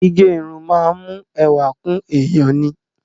Gígẹ irun máa ń mú ẹwà kún èèyàn ni.